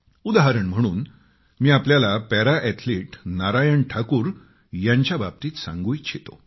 उदाहरण म्हणून मी आपल्याला पॅरा अॅथलिट नारायण ठाकूर यांच्याबाबतीत सांगू इच्छितो